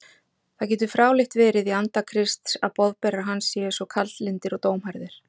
Það getur fráleitt verið í anda Krists að boðberar hans séu svo kaldlyndir og dómharðir.